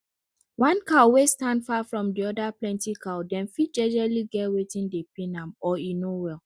one cow wey stand far from di other plenty cow dem fit jejely get watin dey pain am or e no well